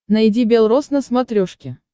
найди белрос на смотрешке